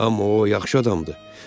Amma o yaxşı adamdır.